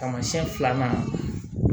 Taamasiyɛn filanan